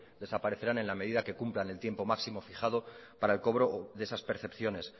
desaparecerán en la medida que cumplan el tiempo máximo fijado para el cobro de esas percepciones